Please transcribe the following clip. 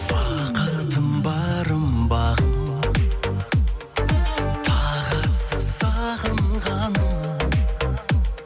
бақытым барым бағым тағатсыз сағынғаным